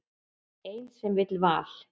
Ein sem vill val.